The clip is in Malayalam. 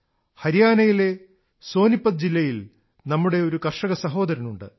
ഹരിയാനയിലെ സോനിപത് ജില്ലയിൽ നമ്മുടെ ഒരു കർഷകസഹോദരനുണ്ട്